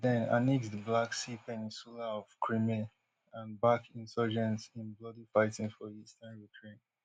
russia den annexe di black sea peninsula of crimea and back insurgents in bloody fighting for eastern ukraine